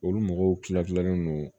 Olu mɔgɔw kila kilalen no